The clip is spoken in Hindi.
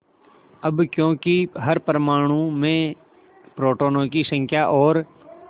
अब क्योंकि हर परमाणु में प्रोटोनों की संख्या और